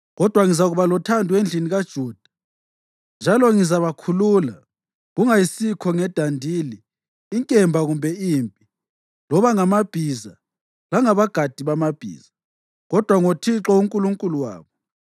Kodwa ngizakuba lothando endlini kaJuda, njalo ngizabakhulula, kungayisikho ngedandili, inkemba kumbe impi, loba ngamabhiza langabagadi bamabhiza, kodwa ngoThixo uNkulunkulu wabo.”